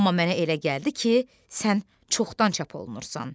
Amma mənə elə gəldi ki, sən çoxdan çap olunursan.